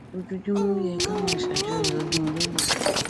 ojoojúmọ ló yẹ kí a máa ṣàjọyọ ọdún olólùfẹ